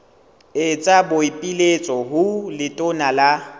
etsa boipiletso ho letona la